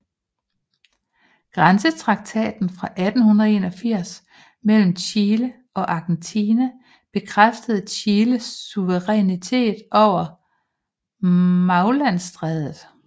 Grænsetraktaten fra 1881 mellem Chile og Argentina bekræftede Chiles suverænitet over Magellanstrædet